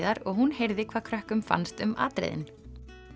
og hún heyrði hvað krökkum fannst um atriðin